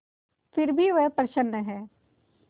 फिर भी वह प्रसन्न है